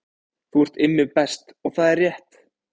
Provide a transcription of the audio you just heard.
Þú ert Immi Best og það er rétt